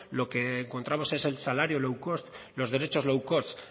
lo que encontramos es el salario low cost los derechos low cost